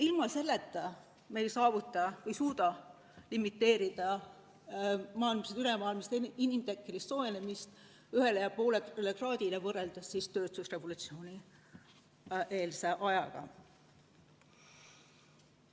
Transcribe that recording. Ilma selleta me ei suuda limiteerida ülemaailmset inimtekkelist soojenemist 1,5 kraadiga võrreldes tööstusrevolutsioonieelse ajaga.